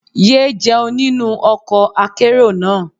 Yé jẹun nínú ọkọ̀ akérò náà.